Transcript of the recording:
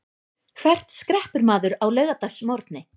Hvert skreppur maður á laugardagsmorgni?